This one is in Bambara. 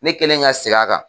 Ne kɛlen ka segin a kan.